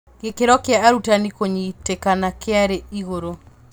Gĩkĩro kĩa arutani kũnyitĩkana kĩarĩ igũrũ.